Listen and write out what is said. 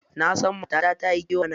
Nasan matata tayi kewa na.